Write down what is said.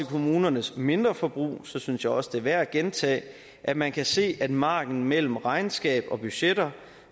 kommunernes mindreforbrug synes jeg også det er værd at gentage at man kan se at margenen mellem regnskab og budgetter